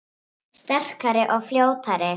Sterkari og fljótari